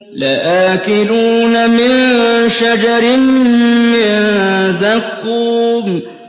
لَآكِلُونَ مِن شَجَرٍ مِّن زَقُّومٍ